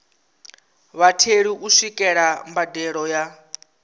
vhatheli u swikelela mbadelo ya